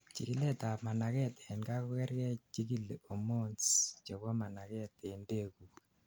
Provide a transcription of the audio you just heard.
chikilet ab managet en kaa kokergei chikili hormones chebo managet en beekguk